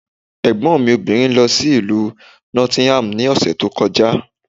Ẹ̀gbọ́n mi obìnrin lọ sí Ìlú Nottingham ní ọ̀sẹ̀ tó kọjá.